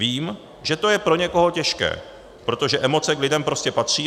Vím, že to je pro někoho těžké, protože emoce k lidem prostě patří.